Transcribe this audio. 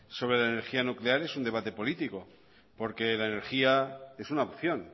sobre la energía nuclear es un debate político porque la energía es una opción